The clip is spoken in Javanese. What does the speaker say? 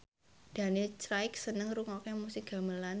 Daniel Craig seneng ngrungokne musik gamelan